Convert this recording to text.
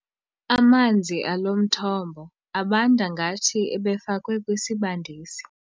Amanzi alo mthombo abanda ngathi ebefakwe kwisibandisi.